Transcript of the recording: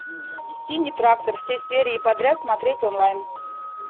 синий трактор все серии подряд смотреть онлайн